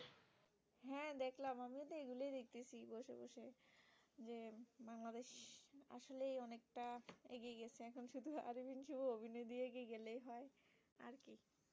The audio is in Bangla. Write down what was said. একটা এগিয়ে গেছে এখন শুধু অরবিন্দ শুভ অভিনয় দিয়ে এগিয়ে গেলেই হয়, আর কি